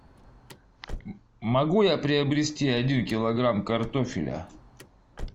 могу я приобрести один килограмм картофеля